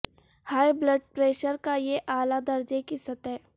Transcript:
high blood pressure کا یہ اعلی درجے کی سطح